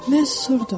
Mən susurdum.